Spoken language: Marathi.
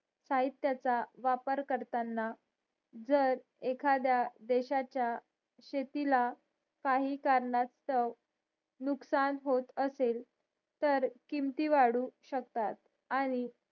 साहित्याचा वापर करताना जर एखाद्या देशाचा शेतीला काही कारणासतव नुकसान होत असेल तर किमती वाढू शकतात आणि